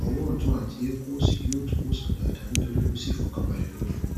ọwọ ọtún àti eékún òsì yóò tún wòsàn dáadáa nítorí kò sí ìfọkànbalẹ lórí wọn